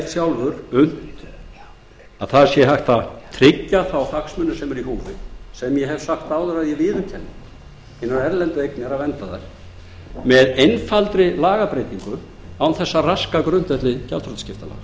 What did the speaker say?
sjálfur að hægt sé að tryggja þá hagsmuni sem eru í húfi sem ég hef áður sagt að ég viðurkenni að unnt sé að vernda hinar erlendu eignir með einfaldri lagabreytingu án þess að raska grundvelli gjaldþrotaskiptalaga vakin var